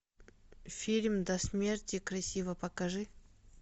фильм до смерти красива покажи